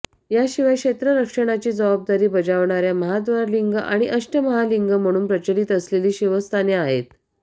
याशिवाय क्षेत्र रक्षणाची जबाबदारी बजावणार्या महाद्वार लिंग आणि अष्टमहालिंग म्हणून प्रचलित असलेली शिवस्थाने आहेत